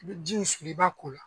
N bɛ ji min fili i b'a k'o la